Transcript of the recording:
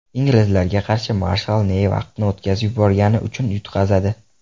Inglizlarga qarshi marshal Ney vaqtni o‘tkazib yuborgani uchun yutqazadi.